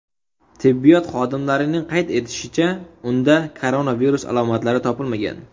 Tibbiyot xodimlarining qayd etishicha, unda koronavirus alomatlari topilmagan.